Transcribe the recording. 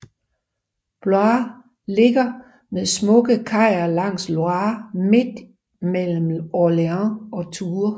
Blois ligger med smukke kajer langs Loire midt mellem Orléans og Tours